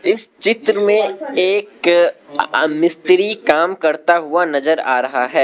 इस चित्र में एक आ मिस्त्री काम करता हुआ नजर आ रहा है।